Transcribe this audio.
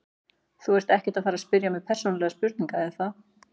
Þú ert ekkert að fara spyrja mig persónulegra spurninga er það?